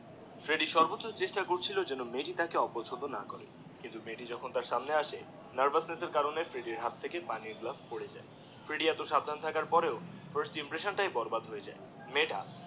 ফ্রেডিডিএ সর্বোচ্চ চেষ্টা করতে ছিল যে যেন মেয়েটি তাকে অপচণ্ড না করে কিন্তু মেয়েটি যখুন তার সামনে আসে নার্ভাসনেস এর কারণে ফ্রেডিডি এর হাত থেকে পানির গ্লাস পরে যায় ফ্রেডিডি এ এত সাবধান থাকার পরেও ফার্স্ট ইমপ্রেশন, তাই বরবাদ হয়ে গেলো মেয়েটা